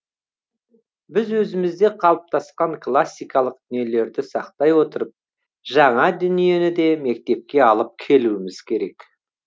біз өзімізде қалыптасқан классикалық дүниелерді сақтай отырып жаңа дүниені де мектепке алып келуіміз керек